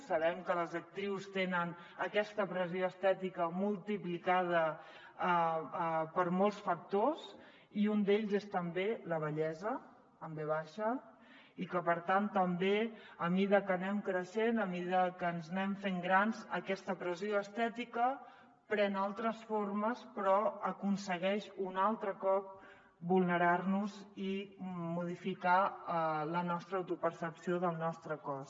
sabem que les actrius tenen aquesta pressió estètica multiplicada per molts factors i un d’ells és també la vellesa amb ve baixa i que per tant també a mesura que anem creixent a mesura que ens anem fent grans aquesta pressió estètica pren altres formes però aconsegueix un altre cop vulnerar nos i modificar la nostra autopercepció del nostre cos